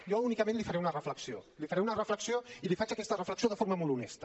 jo únicament li faré una reflexió li faré una reflexió i li faig aquesta reflexió de forma molt honesta